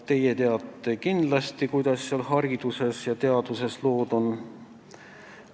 Teie teate kindlasti paremini, kuidas hariduses ja teaduses lood on.